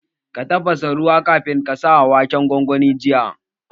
Ka tafasa ruwa kafin ka sa waken gwangwanin jiya?